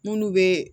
N'ulu bɛ